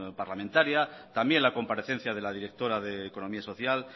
parlamentaria también la comparecencia de la directora de economía social